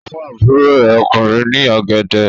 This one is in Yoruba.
Ó fún àbúrò rẹ̀ ọkùnrin ní ọ̀gẹ̀dẹ̀.